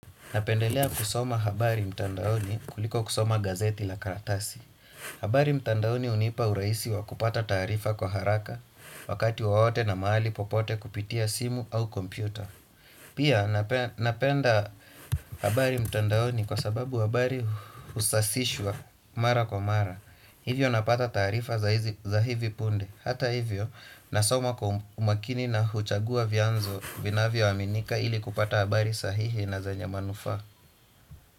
Napendelea kusoma habari mtandaoni kuliko kusoma gazeti la karatasi. Habari mtandaoni unipa uraisi wa kupata taarifa kwa haraka. Wakati wowote na maali popote kupitia simu au kompyuta. Pia napenda habari mtandaoni kwa sababu habari usasishwa mara kwa mara. Hivyo napata tarifa za hivi punde. Hata hivyo nasoma kwa umakini na huchagua vianzo vinavyo aminika ili kupata habari sahihi na zenye manufaa.